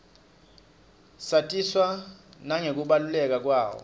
satiswa nangekubaluleka kwayo